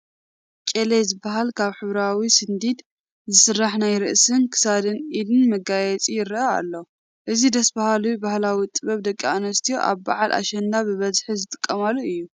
ጨሌ ዝበሃል ካብ ህብራዊ ስንዲድ ዝስራሕ ናይ ርእስን ክሳድን ኢድን መጋየፂ ይርአ ኣሎ፡፡ እዚ ደስ በሃሊ ባህላዊ ጥበብ ደቂ ኣንስትዮ ኣብ በዓል ኣሸንዳ ብበዝሒ ዝጥቀማሉ እዩ፡፡